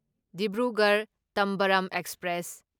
Dibrugarh Tambaram express